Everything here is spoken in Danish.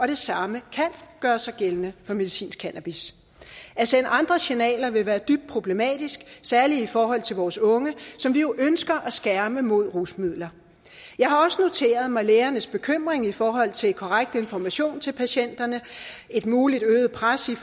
det samme kan gøre sig gældende for medicinsk cannabis at sende andre signaler ville være dybt problematisk særlig i forhold til vores unge som vi jo ønsker at skærme mod rusmidler jeg har også noteret mig lægernes bekymring i forhold til korrekt information til patienterne et muligt øget pres i